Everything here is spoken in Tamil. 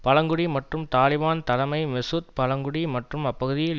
பழங்குடி மற்றும் தாலிபன் தலைமை மெசூத் பழங்குடி மற்றும் அப்பகுதியில்